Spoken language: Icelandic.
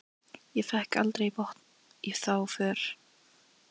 Ég fékk aldrei botn í þá för.